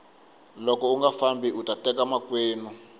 loko unga fambi uta teka makwenu